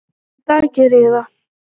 Í dag geri ég það.